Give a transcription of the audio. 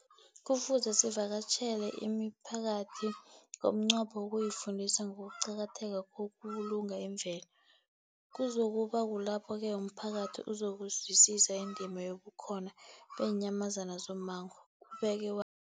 Kufuze sivakatjhele imiphakathi ngomnqopho wokuyifundisa ngokuqakatheka kokubulunga imvelo. Kuzoku ba kulapho-ke umphakathi uzokuzwisisa indima yobukhona beenyamazana zommango, ubeke wa